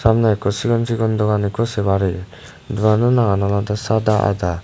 samne ikko sigon sigon dogan ikko se parir doganno nangan olode sadda adda.